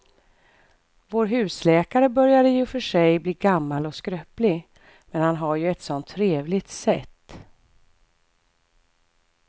Vår husläkare börjar i och för sig bli gammal och skröplig, men han har ju ett sådant trevligt sätt!